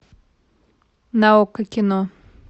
на окко кино